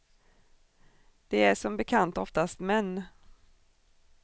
De är som bekant oftast män.